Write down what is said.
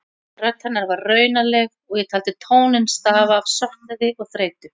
Rödd hennar var raunaleg og ég taldi tóninn stafa af söknuði og þreytu.